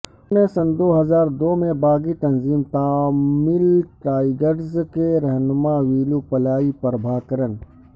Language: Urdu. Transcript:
انہوں نے سن دو ہزار دو میں باغی تنظیم تامل ٹائگرز کے رہنما ویلوپلائی پربھاکرن